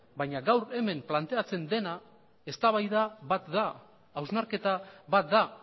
baina gaur hemen planteatzen dena eztabaida bat da hausnarketa bat da